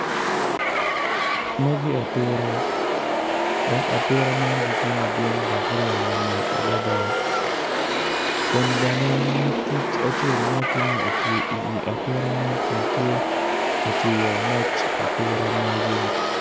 Magi atura kun gin weng gitye ma oruko bongo mapafipadi dok kalane tye patpat kungin tye ka ngwec i yo gudo ma otal adada.